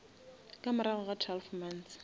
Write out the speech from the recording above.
ka morago ga twelve months